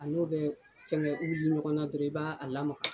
A n'o bɛ fɛngɛ wuli ɲɔgɔn na dɔrɔn i b'a a lamaga.